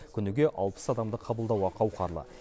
күніге алпыс адамды қабылдауға қауқарлы